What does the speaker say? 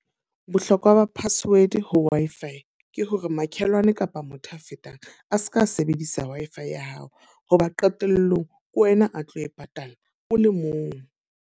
Bohlokwa ba password ho Wi-Fi, ke hore makhelwane kapa motho a fetang. A seka a sebedisa Wi-Fi ya hao, hoba qetellong ke wena a tlo e patala o le mong.